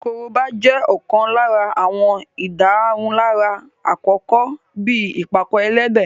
Korobá jẹ́ ọ̀kan lára àwọn ìdárunlárà àkọ́kọ́ bíi ìpàkọ-ẹlẹ́dẹ̀